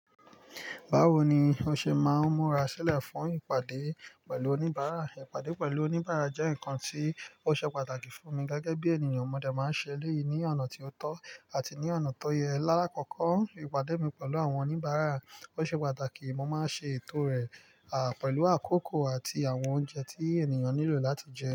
Báwo ni o ṣe máa ń múra sílẹ̀ fún ìpàdé pẹ̀lú oníbàárà? Ìpàdé pẹ̀lú oníbàárà jẹ́ nǹkan tí ó ṣe pàtàkì fún mi gẹ́gẹ́ bí ènìyàn. Ọmọdé máa ń ṣẹlẹ̀ ní ọ̀nà tí ó tọ́ àti ní ọ̀nà tó yẹ. Láàkọ́kọ́, ìpàdé mi pẹ̀lú àwọn oníbàárà ó ṣe pàtàkì. Mo máa ń ṣe ètò rẹ̀, à, pẹ̀lú àkókò àti àwọn oúnjẹ tí ènìyàn nílò láti jẹ.